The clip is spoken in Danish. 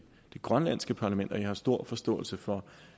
det grønlandske parlament jeg har stor forståelse for